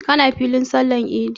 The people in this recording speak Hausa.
Ka na filin sallar idi?